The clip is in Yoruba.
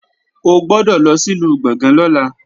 O gbọ́dọ̀ lọ sìlú Gbọ̀ngán lọ́la